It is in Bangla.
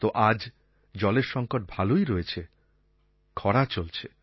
তো আজ জলের সংকট ভালোই রয়েছে খরা চলছে